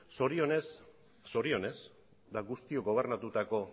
zorionez guztiok gobernatutako